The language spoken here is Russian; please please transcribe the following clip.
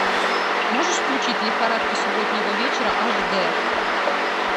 можешь включить лихорадка субботнего вечера аш дэ